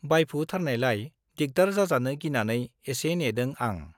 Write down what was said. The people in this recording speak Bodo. बाइफुथारनायलाय दिग्दार जाजानो गिनानै एसे नेदों आं।